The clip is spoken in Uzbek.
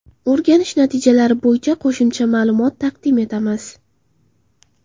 O‘rganish natijalari bo‘yicha qo‘shimcha ma’lumot taqdim etamiz.